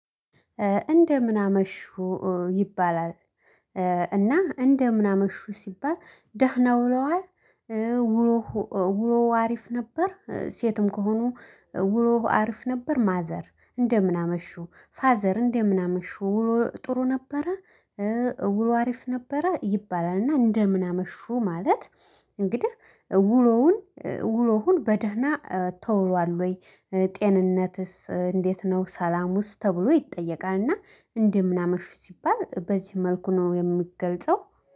እንደምን አመሹ ይባላል። እና እንደምን አመሹ ሲባል ደህና ውለዋል። ውሎ ውሎ ሀሪፍ ነበር። ሴትም ከሆኑ ውሎ ሀሪፍ ነበር ማዘር እንደምን አመሹ ፋዘር እንደምን አመሹ። ጥሩ ነበረ። ውሎ ሀሪፍ ነበረ ይባላል። እና እንደምን አመሹ ማለት እንግዲህ እውሎውን ውሎሁን በደህና ተውሏል ወይ? ጤንነትስ እንዴት ነው? ሰላሙስ ተብሎ ይጠየቃልና። እንደምን አመሹ ሲባል በዚህ መልኩ ነው የምገልጸው